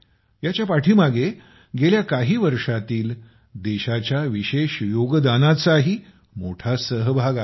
ह्याच्या पाठीमागे गेल्या काही वर्षांतील देशाच्या विशेष योगदानाचाही मोठा सहभाग आहे